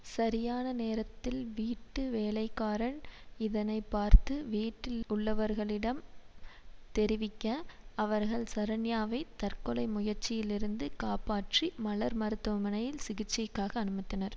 சரியான நேரத்தில் வீட்டு வேலைக்காரன் இதனை பார்த்து வீட்டிலுள்ளவர்களிடம் தெரிவிக்க அவர்கள் சரண்யாவை தற்கொலை முயற்சியிலிருந்து காப்பாற்றி மலர் மருத்துவமனையில் சிகிச்சைக்காக அனுமத்தனர்